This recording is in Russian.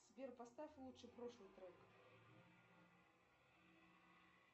сбер поставь лучше прошлый трек